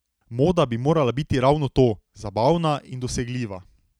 Moda bi morala biti ravno to, zabavna, in dosegljiva.